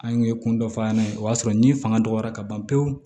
An ye kun dɔ f'an ɲɛna o y'a sɔrɔ ni fanga dɔgɔyara ka ban pewu